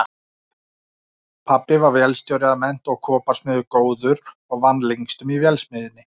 Pabbi var vélstjóri að mennt og koparsmiður góður og vann lengstum í vélsmiðjunni